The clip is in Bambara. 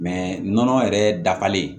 nɔnɔ yɛrɛ dafalen